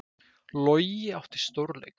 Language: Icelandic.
Logi átti stórleik